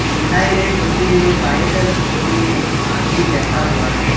दिखाएं गए तस्वीर में बाई तरफ कोने में एक आदमी बैठा हुआ है।